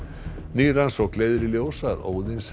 ný rannsókn leiðir í ljós að